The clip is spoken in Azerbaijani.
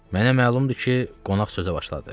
Mənə məlumdur ki, qonaq sözə başladı.